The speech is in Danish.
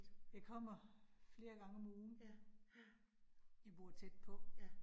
Jeg kommer flere gang om ugen. Jeg bor tæt på